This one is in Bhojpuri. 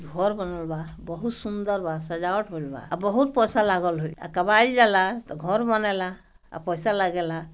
घर बनल बा बहुत सुंदर बा सजावट हॉएल बा बहुत पैसा लागल हुई कमाई जाला तो घर बनेला आ पैसा लगेला।